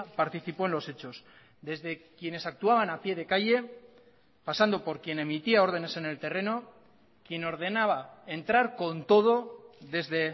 participó en los hechos desde quienes actuaban a pie de calle pasando por quien emitía ordenes en el terreno quien ordenaba entrar con todo desde